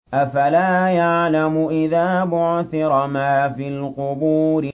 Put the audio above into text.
۞ أَفَلَا يَعْلَمُ إِذَا بُعْثِرَ مَا فِي الْقُبُورِ